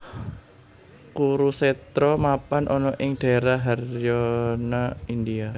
Kurusetra mapan ana ing daérah Haryana India